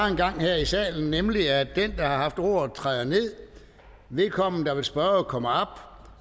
engang var her i salen nemlig at den der har haft ordet træder ned og vedkommende der vil spørge kommer op